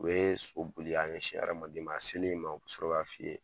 U ye so boli k'a ɲɛsin e ma u bi sɔrɔ k'a f'i ye.